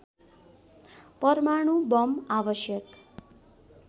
परमाणु बम आवश्यक